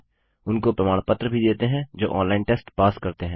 उनको प्रमाण पत्र भी देते हैं जो ऑनलाइन टेस्ट पास करते हैं